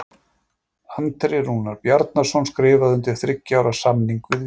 Andri Rúnar Bjarnason skrifaði undir þriggja ára samning við Víkinga.